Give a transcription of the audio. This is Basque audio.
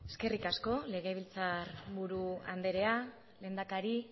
eskerrik asko legebiltzarburu andrea lehendakari